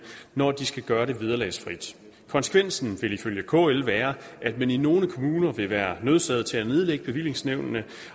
når de skal gøre det vederlagsfrit konsekvensen vil ifølge kl være at man i nogle kommuner vil være nødsaget til at nedlægge bevillingsnævnene